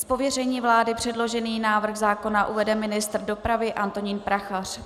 Z pověření vlády předložený návrh zákona uvede ministr dopravy Antonín Prachař.